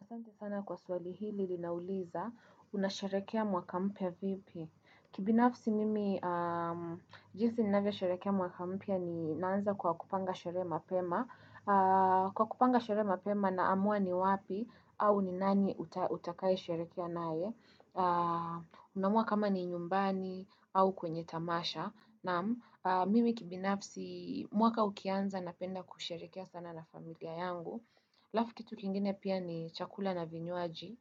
Asante sana kwa swali hili linauliza, unasharehekea mwaka mpya vipi? Kibinafsi mimi, jinsi ninavyosherehekea mwaka mpya ni naanza kwa kupanga sherehe mapema. Kwa kupanga sherehe mapema naamua ni wapi au ni nani utakae sherehekea naye. Unaamua kama ni nyumbani au kwenye tamasha. Naam, mimi kibinafsi mwaka ukianza napenda kusharehekea sana na familia yangu. Alafu kitu kingine pia ni chakula na vinywaji,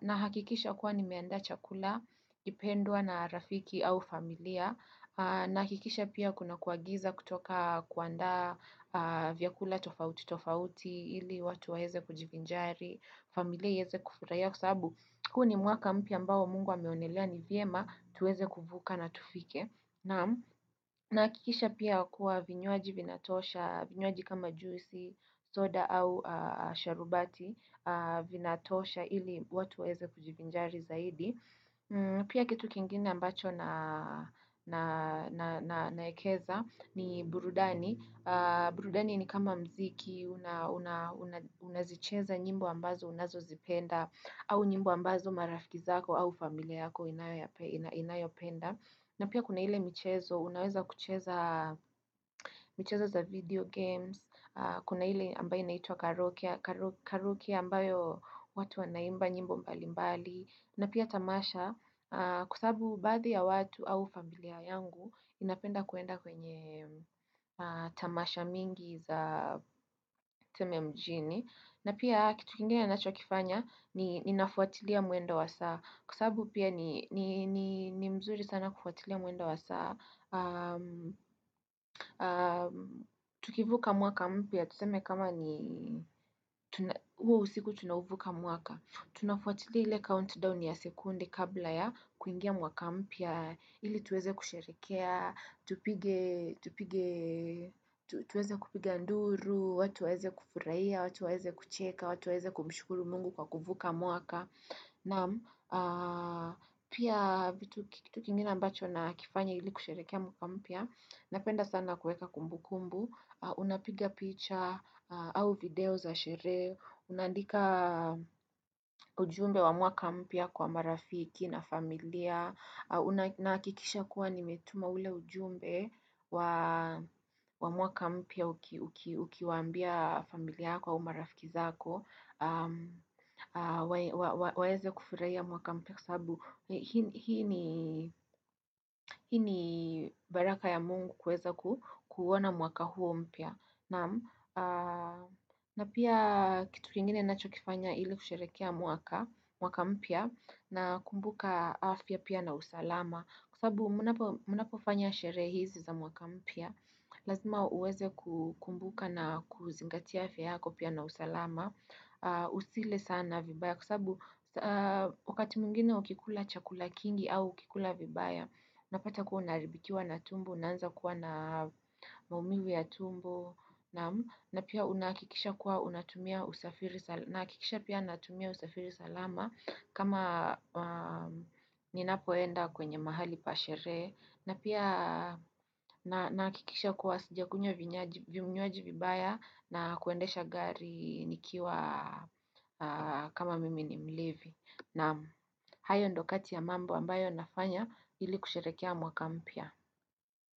nahakikisha kuwa nimeandaa chakula, kinachopendwa na rafiki au familia, na hakikisha pia kuna kuagiza kutoka kuandaa vyakula tofauti tofauti ili watu waweze kujivinjari, familia iweze kufurahia kwa sababu. Huu ni mwaka mpya ambao mungu ameonelea ni vyema tuweze kuvuka na tufike. Nahakikisha pia kua vinywaji vinatosha, vinywaji kama juisi, soda au sharubati, vinatosha ili watu waweze kujivinjari zaidi. Pia kitu kingine ambacho naekeza ni burudani. Burudani ni kama muziki, unazicheza nyimbo ambazo unazozipenda au nyimbo ambazo marafiki zako au familia yako inayopenda. Na pia kuna ile mchezo, unaweza kucheza michezo za video games. Kuna hile ambayo inaitwa karaoke ambayo watu wanaimba nyimbo mbalimbali na pia tamasha kwa sababu baadhi ya watu au familia yangu inapenda kuenda kwenye tamasha mingi za tuseme mjini na pia kitu kingine ninachokifanya ninafuatilia mwendo wa saa kwa sababu pia ni mzuri sana kufuatilia mwendo wa saa tukivuka mwaka mpya tuseme kama ni huo usiku tunauvuka mwaka. Tunafuatili ile countdown ya sekunde kabla ya kuingia mwaka mpya ili tuweze kusherehekea, tuweze kupiga nduru, watu waweze kufurahia, watu waweze kucheka, watu waweze kumshukuru mungu kwa kuvuka mwaka. Naam pia kitu kingine ambacho nakifanya ili kusherehekea mwaka mpya Napenda sana kuweka kumbukumbu. Unapiga picha au video za sherehe, Unaandika ujumbe wa mwaka mpya kwa marafiki na familia Nahikikisha kuwa nimetuma ule ujumbe wa mwaka mpya ukiwaambia familia yako au marafiki zako waweze kufurahia mwaka mpya kwa sababu hii ni baraka ya mungu kuweza kuuona mwaka huo mpya pia kitu kingine ninachokifanya ili kusherehekea mwaka mpya nakumbuka afya pia na usalama kwa sababu mnapofanya sherehe hizi za mwaka mpya, lazima uweze kukumbuka na kuzingatia afya yako pia na usalama Usile sana vibaya kwa sababu wakati mwingine ukikula chakula kingi au ukikula vibaya unapata kuwa naharibikiwa na tumbo, unaanza kuwa na maumivu ya tumbo na pia nahakikisha kuwa natumia usafiri salama kama ninapoenda kwenye mahali pa sherehe. Na pia nahakikisha kuwa sijakunywa vinywaji vibaya na kuendesha gari nikiwa kama mimi ni mlevi. Naam hayo ndio kati ya mambo ambayo nafanya ili kusherehekea mwaka mpya.